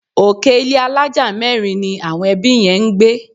Òkè ilé àlája mẹ́rin ni àwọn ẹbí yẹn ń gbé